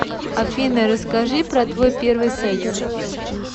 афина расскажи про твой первый секс